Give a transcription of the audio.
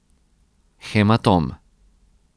Hematom.